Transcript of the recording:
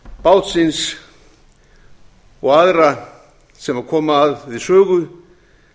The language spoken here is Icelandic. bátsins og aðra sem koma við sögu